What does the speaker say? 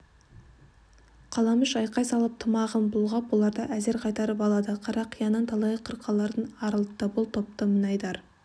қаламүш айқай салып тымағын бұлғап оларды әзер қайтарып алады қарақияның талай қырқаларын арылтты бұл топты мінайдар